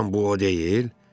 Doğrudan bu o deyil?